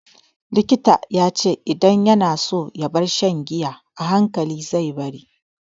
Likita ya ce idan yana so ya bar shan giya,a hankali zai bari.